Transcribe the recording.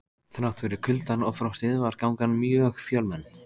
Þrátt fyrir kuldann og frostið var gangan mjög fjölmenn.